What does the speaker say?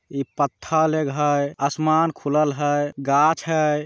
यह पत्थर एगो है आसमान खुलल है घास है।